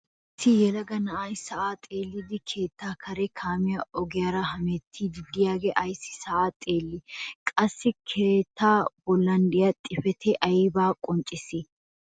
Issi yelaga na'ay sa'aa xeelliidi keettaa kareera kaamiyaa ogiyaara hemettiidi de'iyagee ayssi sa'aa xeellii? qassi keettaa bollan de'iyaa xifatee aybaa qonccisii?